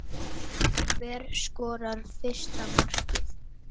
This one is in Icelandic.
Hver skorar fyrsta markið?